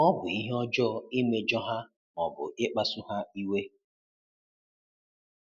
Ọ bụ ihe ọjọọ imejọ ha ma ọ bụ ịkpasu ha iwe.